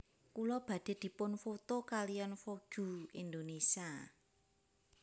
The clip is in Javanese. Kula badhe dipun foto kaliyan Vogue Indonesia